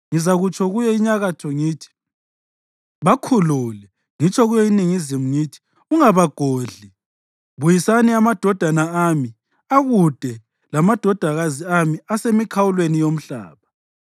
Ngizakutsho kuyo inyakatho ngithi, ‘Bakhulule!’ Ngitsho kuyo iningizimu ngithi, ‘Ungabagodli.’ Buyisani amadodana ami akude lamadodakazi ami asemikhawulweni yomhlaba,